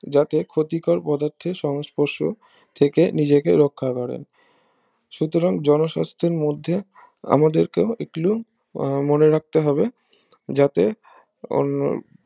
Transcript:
যাতে ক্ষতিকর পদার্থের সংস্পর্শ থেকে নিজেকে রক্ষা করেন সুতরাং জনস্বাস্থ্যের মধ্যে আমাদেরকেও একলুন মনে রাখতে হবে যাতে অন্য